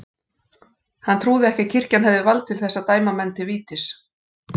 Hann trúði ekki að kirkjan hefði vald til þess að dæma menn til vítis.